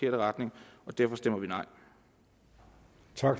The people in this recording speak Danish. retning og derfor stemmer vi nej